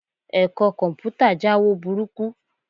Ẹ̀kọ́ Kọ̀m̀pútà jáwo burúkú